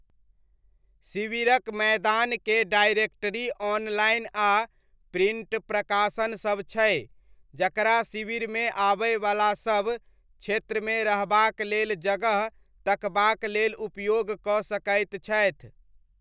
शिविरक मैदानकेँ directory online आ प्रिण्ट प्रकाशनसब छै जकरा शिविरमे आबयवलासब क्षेत्रमे रहबाक लेल जगह तकबाक लेल उपयोग कऽ सकैत छथि।